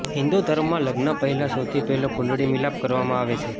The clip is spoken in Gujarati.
હિંદુ ધર્મમાં લગ્ન પહેલા સૌથી પહેલા કુંડળી મિલાપ કરાવવામાં આવે છે